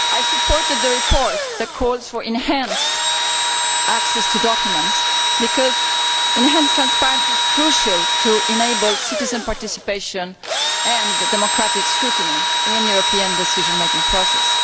Mr President, I supported the report that calls for enhanced access to documents because enhanced transparency is crucial to enable citizen participation in, and democratic scrutiny of, the European decision making process.